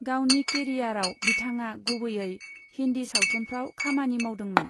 गावनि केरियारआव बिथाङा गुबैयै हिन्दी सावथुनफ्राव खामानि मावदोंमोन।